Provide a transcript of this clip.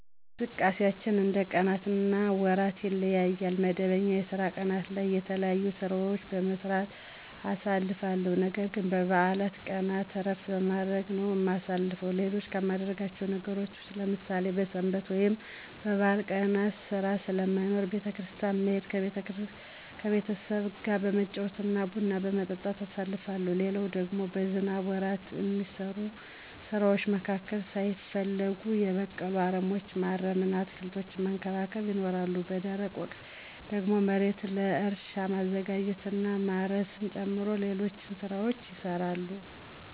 እንቅስቃሴያችን እንደ ቀናት እና ወራት ይለያያል። መደበኛ የስራ ቀናት ላይ የተለያዩ ሥራዎችን በመስራት አሳልፋለሁ። ነገርግን በበዓል ቀናት እረፍት በማድረግ ነው እማሳልፈው። ሌሎች ከማደርጋቸው ነገሮች ውስጥ ለምሳሌ በሰንበት ወይም በበዓል ቀናት ሥራ ስለማይኖር ቤተ- ክርስቲያን መሄድ፤ ከቤተሰብጋ በመጫወት እና ቡና በመጠጣት አሳልፋለሁ። ሌላው ደግሞ በዝናብ ወራት እሚሰሩ ስራዎች መካከል ሳይፈለጉ የበቀሉ አረሞችን ማረም እና አትክልቶችን መንከባከብ ይኖራል። በደረቅ ወቅት ደግሞ መሬትን ለእርሻ ማዘጋጀት እና ማረስን ጨምሮ ሌሎች ሥራዎችም ይሰራሉ።